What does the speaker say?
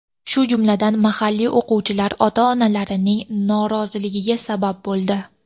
shu jumladan mahalliy o‘quvchilar ota-onalarining noroziligiga sabab bo‘ldi.